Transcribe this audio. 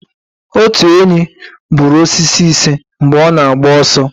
Otu enyí kụpụrụ osisi ise mgbe ọ na-agba ọsọ